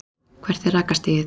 hvert er rakastigið